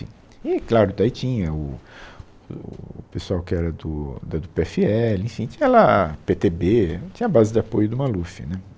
E claro, daí tinha o o pessoal que era do da do pê efe ele, enfim, tinha lá pê tê bê, é, tinha a base de apoio do Maluf, né